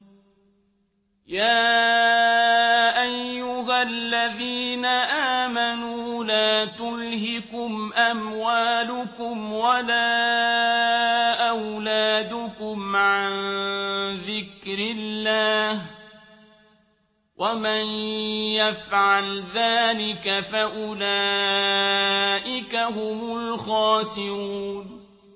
يَا أَيُّهَا الَّذِينَ آمَنُوا لَا تُلْهِكُمْ أَمْوَالُكُمْ وَلَا أَوْلَادُكُمْ عَن ذِكْرِ اللَّهِ ۚ وَمَن يَفْعَلْ ذَٰلِكَ فَأُولَٰئِكَ هُمُ الْخَاسِرُونَ